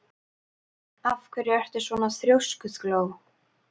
Af hverju ertu svona þrjóskur, Gló?